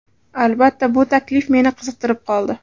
Albatta, bu taklif meni qiziqtirib qoldi.